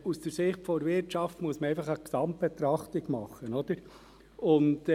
Aus Sicht der Wirtschaft muss man eine Gesamtbetrachtung vornehmen.